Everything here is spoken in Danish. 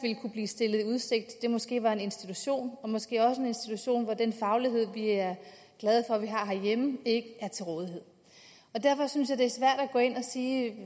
kunne blive stillet i udsigt måske var en institution og måske også en institution hvor den faglighed vi er glade for at vi har herhjemme ikke er til rådighed derfor synes jeg det er svært at gå ind og sige